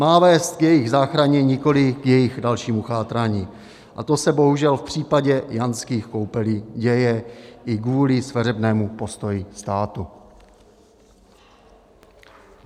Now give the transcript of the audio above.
Má vést k jejich záchraně, nikoliv k jejich dalšímu chátrání, a to se bohužel v případě Jánských Koupelí děje i kvůli sveřepému postoji státu.